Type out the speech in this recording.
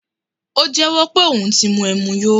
O jẹ́wó̩ pe oun ti mu ẹmu yó